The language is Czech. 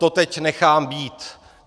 To teď nechám být.